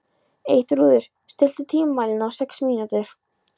Eyþrúður, stilltu tímamælinn á sex mínútur.